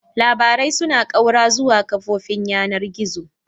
Labarai suna ƙaura zuwa kafofin yanar gizo.